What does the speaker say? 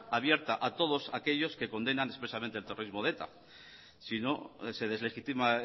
abierta a todos aquellos que condenan expresamente el terrorismo de eta si no se deslegitima